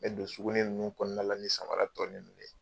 N mɛ don suguni ninnu kɔnɔna la, ni samara tɔ ninnu ye